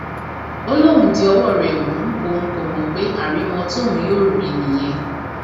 ó lóun di ọwọ rẹ mú òun kó mọ pé àrìmọ tóun yóò rí i nìyẹn